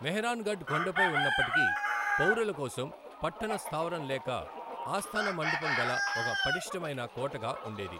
మెహ్రాన్ఘఢ్ కొండపై ఉన్నప్పటికీ, పౌరులకోసం పట్టణ స్థావరం లేక ఆస్థాన మంటపం గల ఒక పటిష్ఠమైన కోటగా ఉండేది.